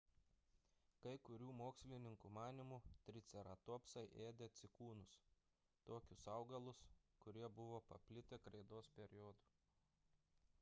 kai kurių mokslininkų manymu triceratopsai ėdė cikūnus – tokius augalus kurie buvo paplitę kreidos periodu